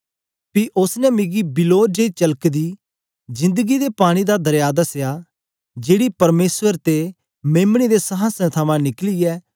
पी उस्स ने मिकी बिल्लोर जेई चलकदी जिन्दगीं दे पानी दा दरया दसया जेकी परमेसर ते मेम्ने दे संहासन थमां निकलियै